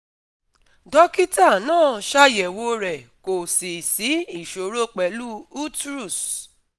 Dókítà náà ṣàyẹ̀wò rẹ̀ kò sì sí ìṣòro pẹ̀lú utrus